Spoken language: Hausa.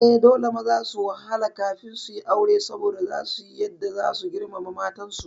Eh, dole maza su wahala kafin suyi aure saboda zasu kuyi yadda zasu girmama matan su